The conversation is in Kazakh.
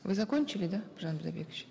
вы закончили да бидайбекович